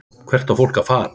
Hvert á fólk að fara?